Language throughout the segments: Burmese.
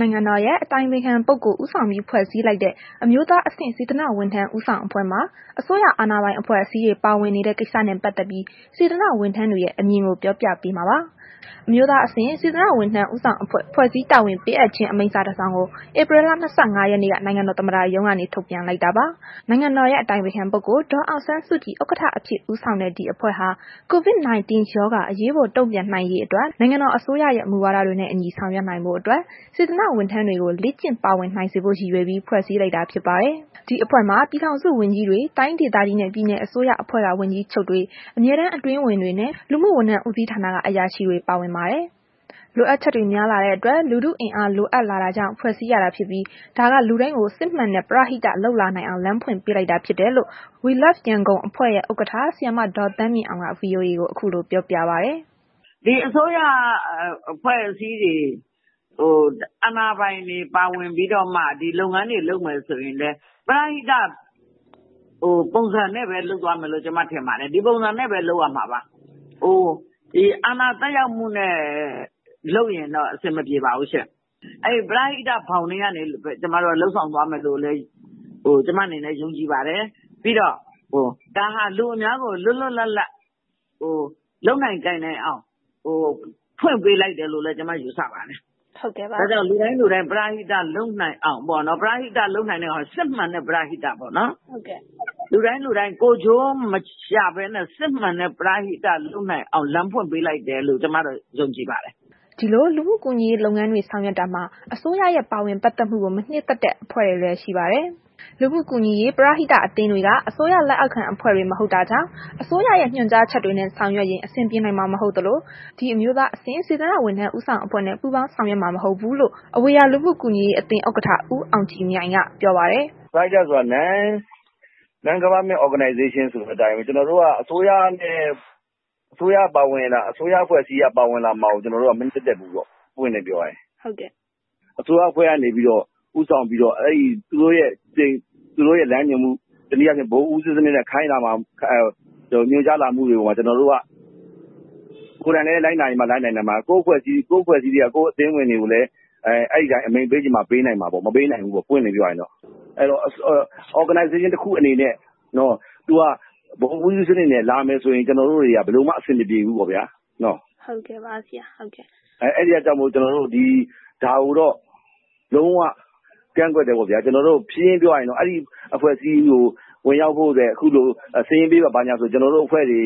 နိုင်ငံတော်၏ အတိုင်ပင်ခံပုဂ္ဂိုလ် ဦးဆောင်ပြီး ဖွဲ့စည်းလိုက်တဲ့ အမျိုးသားအဆင့် စေတနာဝန်ထမ်း ဦးဆောင်အဖွဲ့မှာ အစိုးရ အာဏာပိုင် အဖွဲ့အစည်းတွေ ပါဝင်နေတဲ့ ကိစ္စနဲ့ ပတ်သက်ပြီး စေတနာ့ ဝန်ထမ်းတွေရဲ့ အမြင်ကို ဗွီအိုအေမြန်မာပိုင်းသတင်းထောက် မအိမ့်သန္တာထွန်းက ပြောပြပေးပါမယ်။ အမျိုးသားအဆင့် စေတနာ့ ဝန်ထမ်း ဦးဆောင်အဖွဲ့ ဖွဲ့စည်း တာဝန်ပေးအပ်ခြင်း အမိန့်စာတစောင်ကို ဧပြီလ ၂၅ ရက်နေ့က နိုင်ငံတော်သမ္မတရုံးက ထုတ်ပြန်လိုက်တာပါ။ နိုင်ငံတော်၏ အတိုင်ပင်ခံ ပုဂ္ဂိုလ် ဒေါ်အောင်ဆန်းစုကြည် ဥက္ကဋ္ဌအဖြစ်ဦးဆောင်တဲ့ ဒီအဖွဲ့ဟာ COVID-19 ရောဂါ အရေးပေါ် တုံ့ပြန်နိုင်ရေးအတွက် နိုင်ငံတော် အစိုးရရဲ့ မူဝါဒတွေနဲ့ အညီ ဆောင်ရွက် နိုင်ဖို့အတွက် စေတနာ့ ဝန်ထမ်းတွေကို လေ့ကျင့်ပါဝင်နိုင်စေဖို့ ရည်ရွယ်ပြီး ဖွဲ့စည်း လိုက်တာဖြစ်ပါတယ်။ ဒီအဖွဲ့မှာ ပြည်ထောင်စုဝန်ကြီးတွေ တိုင်းဒေသကြီးနှင့် ပြည်နယ်အစိုးရအဖွဲ့က ဝန်ကြီးချုပ်တွေ အမြဲတမ်း အတွင်းဝန်တွေနှင့် လူမှုဝန်ထမ်း ဦးစီးဌာနက အရာရှိတွေ ပါဝင်ပါတယ်။ လိုအပ်ချက်တွေ များလာတဲ့အတွက် လူထုအင်အား လိုအပ်လာတာကြောင့် ဖွဲ့စည်းရတာဖြစ်ပြီး ဒါက လူတိုင်းကို စစ်မှန်တဲ့ ပရဟိတ လုပ်လာနိုင်အောင် လမ်းဖွင့်ပေးလိုက်တာဖြစ်တယ်လို့ We Love Yangon အဖွဲ့ရဲ့ ဥက္ကဋ္ဌ ဆရာမ ဒေါ်သန်းမြင့်အောင်က ဗွီအိုအေကို ခုလိုပြောပြပါတယ်။ “ဒီအစိုးရ အဖွဲ့အစည်းတွေ အာဏာပိုင်တွေ ပါဝင်ပြီးတော့မှ ဒီလုပ်ငန်းတွေ လုပ်မယ်ဆိုရင်လည်း ပရဟိတ ပုံစံနဲ့ပဲ လုပ်သွားမယ်လို့ ကျမ ထင်ပါတယ်။ ဒီပုံစံနဲ့ပဲ လုပ်ရမှာပါ။ အာဏာသက်ရောက်မှုနဲ့ လုပ်ရင်တော့ အဆင်မပြေပါဘူးရှင့်။ အဲ့ဒီလို ပရဟိတ ဘောင်ထဲကနေ လုပ်ဆောင်သွားမယ်လို့ပဲ ကျမတို့ ယုံကြည်ပါတယ်။ ပြီးတော့ ဒါဟာ လူအများကို လွတ်လွတ်လပ်လပ် လုပ်နိုင်ကိုင်နိုင်အောင် ဖွင့်ပေးလိုက်တယ်လို့လည်း ကျမ ယူဆပါတယ်။ လူတိုင်းလူတိုင်း ပရဟိတ လုပ်နိုင်အောင် စစ်မှန်တဲ့ ပရဟိတ ပေါ့နှော်၊ လူတိုင်းလူတိုင်း ကိုယ်ကျိုး မရှာဘဲနဲ့ စစ်မှန်တဲ့ ပရဟိတ လုပ်နိုင်အောင်လို့ လမ်းဖွင့်ပေးလိုက်တယ်လို့ ကျမကတော့ ယုံကြည်ပါတယ်။” ဒီလို လူမှုကူညီရေးလုပ်ငန်းတွေ ဆောင်ရွက်တာမှာ အစိုးရရဲ့ ပါဝင်ပတ်သက်မှုကို မနှစ်သက်တဲ့ အဖွဲ့တွေလည်း ရှိပါတယ်။ လူမှုကူညီရေး ပရဟိတအသင်းတွေက အစိုးရလက်အောက်ခံအဖွဲ့တွေ မဟုတ်တာကြောင့် အစိုးရရဲ့ ညွှန်ကြားချက်တွေနဲ့ ဆောင်ရွက်ရင် အဆင်ပြေနိုင်မှာ မဟုတ်သလို ဒီ အမျိုးသားအဆင့် စေတနာ့ ဝန်ထမ်း ဦးဆောင်အဖွဲ့နဲ့ ပူးပေါင်းဆောင်ရွက်မှာ မဟုတ်ဘူးလို့ အဝေရာ လူမှုကူညီရေးအသင်း ဥက္ကဋ္ဌ ဦးအောင်ကြည်မြိုင်က ပြောပါတယ်။ “ပရဟိတဆိုတာ Non-Government Organization ဆိုတဲ့ အတိုင်းပဲ ကျနော်တို့က အစိုးရရဲ့ အစိုးရအဖွဲ့အစည်းက ပါဝင်လာမှာကို မနှစ်သက်ဘူးပေါ့ ပွင့်ပွင့်လင်းလင်း ပြောရရင် အစိုးရအဖွဲ့က ဦးဆောင်ပြီးတော့ သူတို့ရဲ့ လမ်းညွှန်မှု တစ်နည်းအားဖြင့် ဗဟိုဦးစီးစနစ်နဲ့ ခိုင်းလာမှာကို ညွှန်ကြားလာမှုတွေကို ကျနော်တို့က ကိုယ်တိုင်လည်း လိုက်နာနိုင်မှ လိုက်နာနိုင်မယ်။ ကိုယ့်အဖွဲ့အစည်း အသင်းဝင်တွေကိုလည်း အဲ့ဒီအတိုင်း အမိန့်ပေးချင်မှ ပေးနိုင်မယ်၊ မပေးနိုင်ဘူးပေါ့ ပွင့်ပွင့်လင်းလင်းပြောရရင်တော့။ အဲ့တော့ Organization တခုအနေနဲ့ ဗဟိုဦးစီးစနစ်နဲ့ လာမယ်ဆိုရင် ကျနော်တို့က ဘယ်လိုမှ အဆင်မပြေဘူပေါ့ဗျာနော်။ အဲ့ဒါကြောင့်မို့ ကျနော်တို့ ဒါကိုတော့ လုံးဝကန့်ကွက်တယ်ပေါ့ဗျာ ရှင်းရှင်းပြောရရင်တော့ အဲ့ဒီအဖွဲ့အစည်းကို ဝင်ရောက်ဖို့အတွက် စာရင်းပေးပါ ဘာညာဆိုရင်တော့ ကျနော်တို့ အဖွဲ့တွေ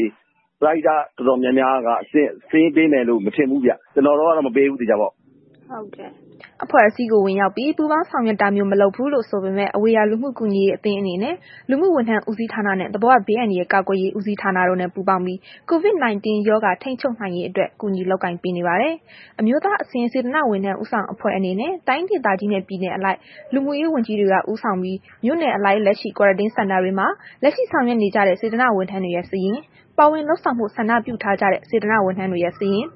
ပရဟိတ အဖွဲ့တွေ တော်တော်များများက စာရင်းပေးမယ်တော့ မထင်ဘူးဗျ။ ကျနော်တို့ကတော့ မပေးဘူး သေချာပေါက်။” အဖွဲ့အစည်းကို ဝင်ရောက်ပြီး ပူးပေါင်းဆောင်ရွက်တာမျိုး မလုပ်ဘူးလို့ ဆိုပေမဲ့ အဝေရာ လူမှုကူညီရေး အသင်းအနေနဲ့ လူမှုဝန်ထမ်းဦးစီးဌာနနဲ့ သဘာဝဘေးအန္တရာယ် ကာကွယ်ရေးဦးစီးဌာနတို့နဲ့ ပူးပေါင်းပြီး COVID-19 ထိန်းချုပ်နိုင်ရေးအတွက် ကူညီလုပ်ကိုင်ပေးနေပါတယ်။ အမျိုးသားအဆင့် စေတနာ့ဝန်ထမ်း ဦးဆောင်အဖွဲ့အနေနဲ့ တိုင်းဒေသကြီးနှင့် ပြည်နယ်အလိုက် လူမှုရေးဝန်ကြီးတွေက ဦးဆောင်ပြီး မြို့နယ်အလိုက် လက်ရှိ Quarantine Center တွေမှာ လက်ရှိ ဆောင်ရွက်နေကြတဲ့ စေတနာ့ဝန်ထမ်းတွေရဲ့ စာရင်း ပါဝင်လုပ်ဆောင်ဖို့ ဆန္ဒပြုထားကြတဲ့ စေတနာ့ဝန်ထမ်းတွေရဲ့ စာရင်း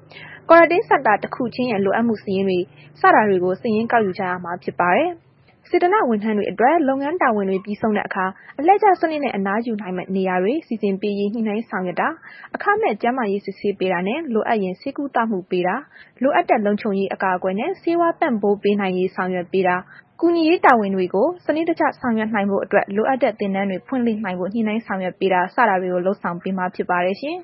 Quarantine Center တခုချင်းရဲ့ လိုအပ်မှုစာရင်းတွေ စတာတွေကို စာရင်းကောက်ယူကြရမှာ ဖြစ်ပါတယ်။ စေတနာ့ဝန်ထမ်းတွေအတွက် လုပ်ငန်းတာဝန်တွေ ပြီးဆုံးတဲ့အခါ အလှည့်ကျစနစ်နဲ့ အနားယူနိုင်မယ့် နေရာတွေ စီစဉ်ပေးရေး ညှိနှိုင်းဆောင်ရွက်တာ အခမဲ့ကျန်းမာရေး စစ်ဆေးပေးတာနှင့် လိုအပ်ရင် ဆေးကုသမှုပေးတာ လိုအပ်တဲ့ လုံခြုံရေး အကာကွယ်နဲ့ ဆေးဝါး ပံ့ပိုးပေးနိုင်ရေး ဆောင်ရွက်ပေးတာနှင့် ကူညီရေးတာဝန်တွေကို စနစ်တကျ ဆောင်ရွက်နိုင်ဖို့အတွက် လိုအပ်တဲ့ သင်တန်းတွေ ဖွင့်လှစ်နိုင်ဖို့ ညှိနှိုင်းဆောင်ရွက်ပေးတာ စတာတွေကို လုပ်ဆောင်ပေးမှာ ဖြစ်ပါတယ်ရှင်။